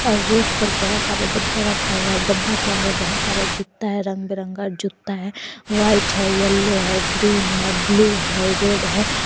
और रेक पर बहोत सारे डब्बा रखा हुआ है डब्बा के अंदर बहोत सारे जुता है रंग बिरंगा जुता है व्हाइट है येलो है ग्रीन है ब्लू है रेड है।